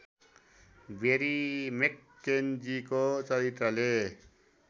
बेरी मेक्केन्जीको चरित्रले